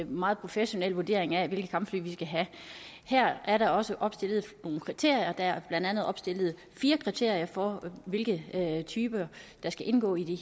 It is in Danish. meget professionel vurdering af hvilke kampfly vi skal have her er der også opstillet nogle kriterier der er blandt andet opstillet fire kriterier for hvilke typer der skal indgå i